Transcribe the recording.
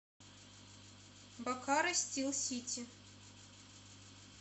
бокаро стил сити